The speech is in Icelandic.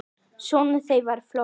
Sonur þeirra var Flosi.